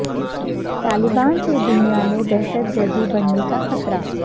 طالبان سے دنیا میں دہشت گردی بڑھنے کا خطرہ